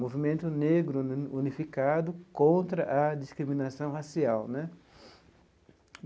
movimento negro unificado contra a discriminação racial né.